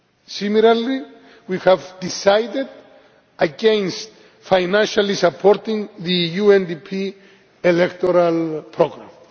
Similarly, we have decided against financially supporting the UNDP electoral programme.